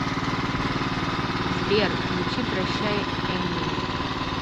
сбер включи прощай эмин